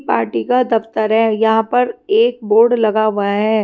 Party का दफ्तर है यहाँ पर एक बोर्ड लगा हुआ हैं।